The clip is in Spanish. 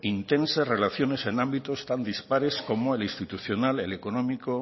intensas relaciones en ámbitos tan dispares como el institucional el económico